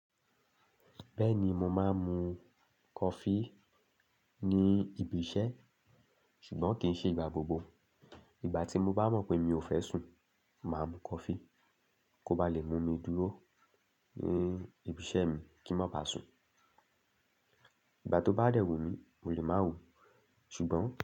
Bẹ́ẹ̀ ni, mo máa ń mu coffee ní ibi iṣẹ́, ṣùgbọ́n kì í ṣe ìgbà gbogbo. Ìgbà tí mo bá mọ̀ pé mi ò fẹ́ sùn, màá mu coffee kó ba lè mú mi dúró ní ibi iṣẹ́ mi kí n má ba sùn. Ìgbà tó bá dẹ̀wù mí, mo lè máa wò ó, ṣùgbọ́n.